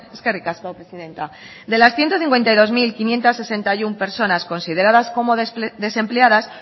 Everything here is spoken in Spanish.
eskerrik asko presidenta de las ciento cincuenta y dos mil quinientos sesenta y uno personas consideradas como desempleadas